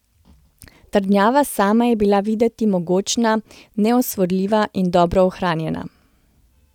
Trdnjava sama je bila videti mogočna, neosvojljiva in dobro ohranjena.